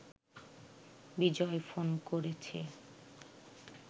বিজয় phone করেছে